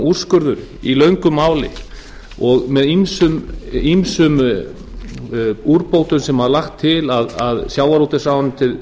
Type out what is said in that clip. úrskurður í löngu máli og með ýmsum úrbótum sem var lagt til að sjávarútvegsráðuneytið